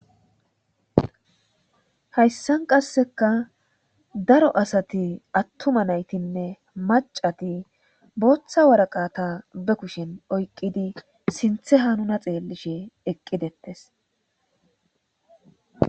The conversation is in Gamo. Hayssan qasseka daro asati attuma naytinne macati booththa waraqata be kushen oykqidi sinthe hanuna xeellishe eqqidettes